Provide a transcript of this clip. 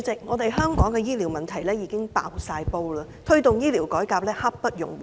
主席，香港醫療系統已經"爆煲"，推動醫療改革刻不容緩。